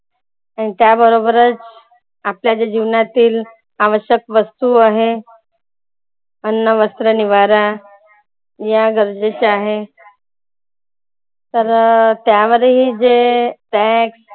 त्या बरोबरचं आपल्या ज्या जिवनातील आवश्यक वस्तू आहे अन्न, वस्त्र, निवारा या गरजेच्या आहे. तर त्या वर जे tax